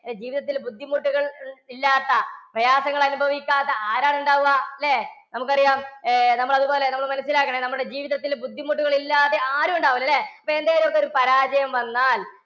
ജീവിതത്തിൽ ബുദ്ധിമുട്ടുകൾ ഇല്ലാത്ത, പ്രയാസങ്ങൾ അനുഭവിക്കാത്ത ആരാണ് ഉണ്ടാവുക അല്ലേ? നമുക്കറിയാം, ഏർ നമ്മൾ അതുപോലെ നമ്മൾ മനസ്സിലാക്കണം. നമ്മുടെ ജീവിതത്തിൽ ബുദ്ധിമുട്ടുകൾ ഇല്ലാതെ ആരും ഉണ്ടാവില്ല അല്ലേ? ഇപ്പോൾ എന്തെങ്കിലും ഒക്കെ ഒരു പരാജയം വന്നാൽ